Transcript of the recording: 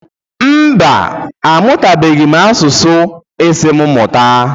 Mba, a mụtabeghị m asụsụ ị sị mụ mụta.